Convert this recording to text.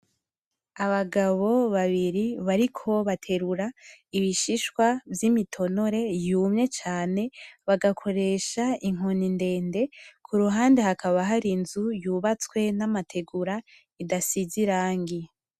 Abagabo babiri bariko baterura ibishishwa vyimitonore yumye cane bagakoresh inkoni ndende kuruhande hakaba hari inzu yubatswe n'amategura idasize irangi.